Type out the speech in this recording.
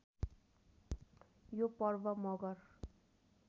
यो पर्व मगर